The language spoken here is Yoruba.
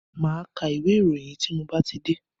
Máa ka ìwé ìròyìn yìí tí mo bá ti dé.